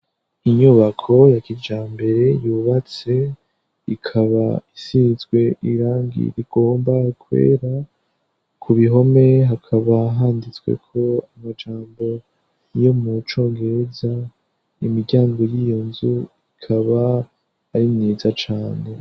Inyubako ya kijambere yubatse ikaba isinzwe irangi rigomba kwera ku bihome hakaba handitswe ko amajambo yo mu congereza imiryango y'iyo nzu ikaba arimyiza cane.